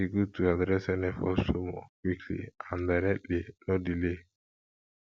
e good to address any false rumor quickly and directly no delay